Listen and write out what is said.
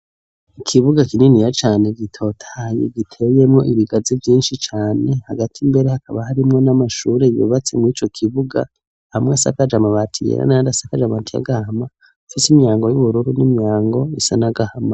Ikibuga kininiya cane gitotahaye giteyemwo ibigazi vyinshi cane, hagati mbere hakaba harimwo n'amashure yubatse muri ico kibuga, amwe asakaje amabati yera n'ayandi asakaje amabati y'agahama, afise imyango y'ubururu n'imyango isa n'agahama.